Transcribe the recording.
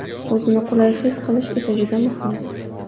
O‘zini qulay his qilish esa juda muhim.